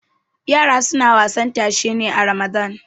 yara suna wasan tashe ne a ramadan